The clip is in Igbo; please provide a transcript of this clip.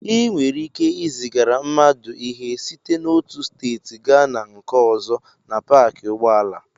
Ị nwere ike izigara mmadụ ihe site n'otu steeti gaa na nke ọzọ na paakị ụgbọala.